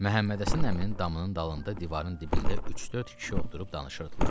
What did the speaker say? Məhəmmədəssən əminin damının dalında divarın dibində üç-dörd kişi oturub danışırdılar.